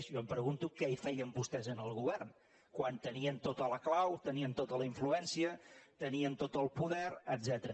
jo em pregunto què hi feien vostès en el govern quan tenien tota la clau tenien tota la influència tenien tot el poder etcètera